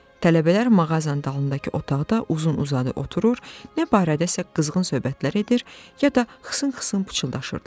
Tələbələr mağazanın dalındakı otaqda uzun-uzadı oturur, nə barədəsə qızğın söhbətlər edir, ya da xısın-xısın pıçıldaşırdılar.